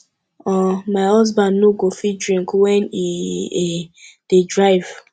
um my husband no go fit drink wen he um dey drive